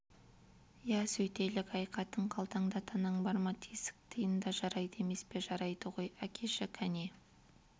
иә сөйтелік әй қатын қалтаңда танаң бар ма тесік тиын да жарайды емес пе жарайды ғой әкеші кәне